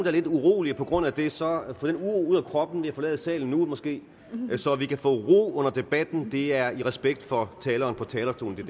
er lidt urolige på grund af det så få den uro ud af kroppen ved at forlade salen nu måske så vi kan få ro under debatten det er i respekt for taleren på talerstolen det